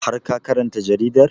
Har ka karanta jaridar?